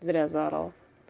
зря заорал